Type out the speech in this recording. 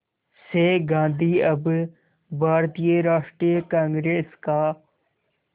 से गांधी अब भारतीय राष्ट्रीय कांग्रेस का